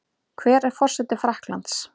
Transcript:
Hver er forseti Frakklands?